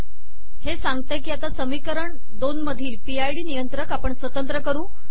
हे सांगते की आता समीकरण २ मधील पी आय डी नियंत्रक आपण स्वतंत्र करू